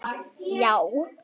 já